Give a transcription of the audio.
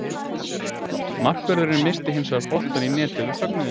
Markvörðurinn missti hins vegar boltann í netið við fögnuðinn.